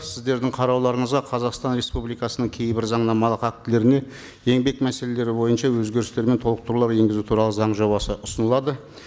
сіздердің қарауларыңызға қазақстан республикасының кейбір заңнамалық актілеріне еңбек мәселелері бойынша өзгерістер мен толықтырулар енгізу туралы заң жобасы ұсынылады